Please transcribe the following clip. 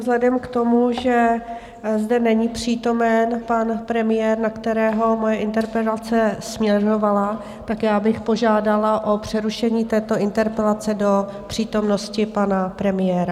Vzhledem k tomu, že zde není přítomen pan premiér, na kterého moje interpelace směrovala, tak já bych požádala o přerušení této interpelace do přítomnosti pana premiéra.